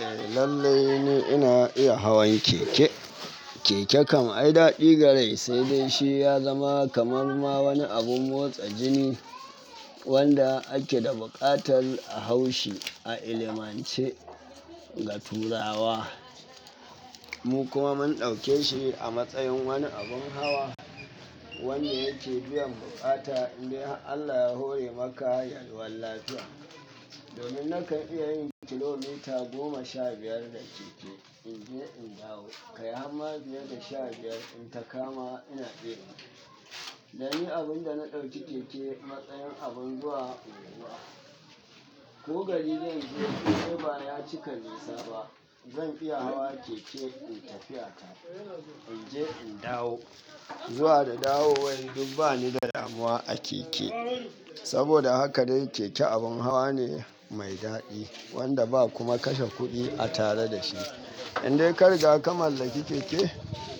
Eh lallai ne ina iya hawan keke. Keke kam ai dadi gare shi, sai dai shi ya zama kamar ma wani abun motsa jini wanda ake da buƙatar a hau shi a ilimance ga turawa. Mu kuma mun dauke shi a matsayin wani abun hawa wanda yake biyan bukata indai Allah ya hore maka yalwan lafiya. Domin na kan iya yin kilomita goma sha biyar da keke, in je in dawo. Kai har ma biyar da sha biyar in takama ina iya yi. Dan ni abun da na dauki keke matsayin abin zuwa unguwa. Ko gari zai je ko ba ya cika nisa ba, zan iya hawa keke in tafi a kai in je in dawo. Zuwa da dawowa duk bani da damuwa a keke. Saboda haka dai keke abun hawa ne mai dadi wanda ba kuma kashe kudi a tare da shi. Indai kariga ka mallaki keke,